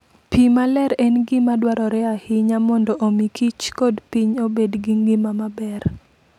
Pi maler en gima dwarore ahinya mondo omi kich kod piny obed gi ngima maber.